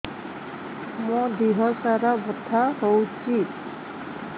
ମୋ ଦିହସାରା ବଥା ହଉଚି